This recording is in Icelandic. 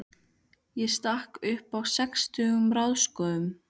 Ég stakk upp á sextugum ráðskonum.